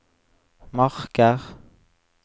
marker